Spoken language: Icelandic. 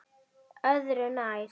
Öðru nær.